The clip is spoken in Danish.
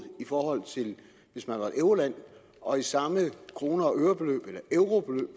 hvis man var et euroland og i samme kroner og øre beløb eller eurobeløb